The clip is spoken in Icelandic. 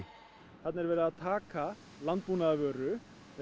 þarna er verið að taka landbúnaðarvöru